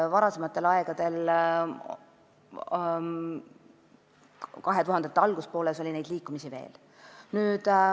Varasematel aegadel, 2000-ndate algupoolel oli neid liikumisi veel.